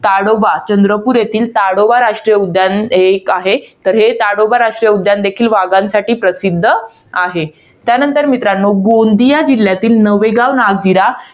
ताडोबा. चंद्रपूर येथील, ताडोबा राष्ट्रीय उद्यान हे एक आहे. तर हे ताडोबा राष्ट्रीय उद्यान देखील वाघांसाठी प्रसिध्द आहे. त्यानंतर मित्रांनो, गोंदिया जिल्ह्यातील नवेगाव नागदिरा